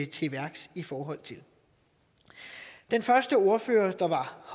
til værks i forhold til den første ordfører der var